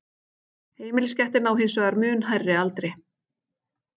Heimiliskettir ná hins vegar mun hærri aldri.